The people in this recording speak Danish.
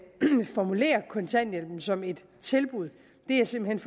formulere kontanthjælpen som et tilbud er simpelt